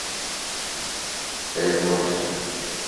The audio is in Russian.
эзмоторс